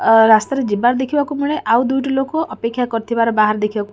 ଅ ରାସ୍ତାରେ ଯିବାର ଦେଖିବାକୁ ମିଳେ ଆଉ ଦୁଇଟି ଲୋକ ଅପେକ୍ଷା କରିଥିବାର ବାହାରେ ଦେଖିବାକୁ--